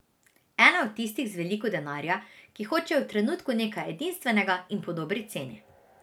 Ena od tistih z veliko denarja, ki hočejo v trenutku nekaj edinstvenega in po dobri ceni.